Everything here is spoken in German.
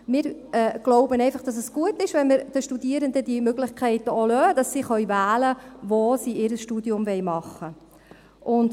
Wir glauben einfach, dass es gut ist, wenn wir den Studierenden diese Möglichkeiten auch lassen, sodass sie wählen können, wo sie ihr Studium machen wollen.